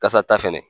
Kasa ta fɛnɛ